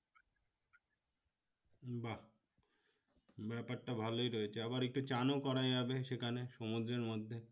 বাহ! ব্যপারটা ভালো রয়েছে আবার একটু স্নান ও করা যাবে সেখানে সমুদ্রের মধ্যে